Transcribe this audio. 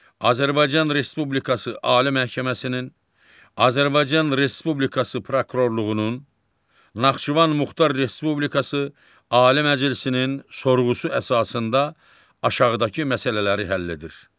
Azərbaycan Respublikası Ali Məhkəməsinin, Azərbaycan Respublikası Prokurorluğunun, Naxçıvan Muxtar Respublikası Ali Məclisinin sorğusu əsasında aşağıdakı məsələləri həll edir.